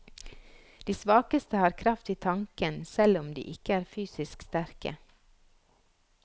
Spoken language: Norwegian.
De svakeste har kraft i tanken, selv om de ikke er fysisk sterke.